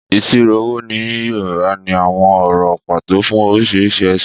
Ìṣirò owó ní Yorùbá ní àwọn ọ̀rọ̀ pàtó fún oríṣiríṣi ẹ̀sìn.